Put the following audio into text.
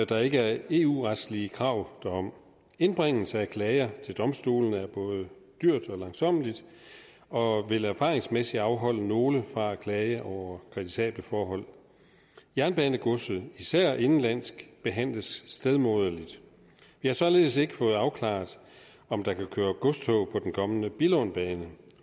der ikke er eu retslige krav derom indbringelse af klager til domstolene er både dyrt og langsommeligt og vil erfaringsmæssigt afholde nogle fra at klage over kritisable forhold jernbanegodset især det indenlandske behandles stedmoderligt vi har således ikke fået afklaret om der kan køre godstog på den kommende billundbane